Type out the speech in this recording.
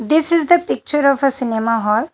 This is the picture of a cinema hall.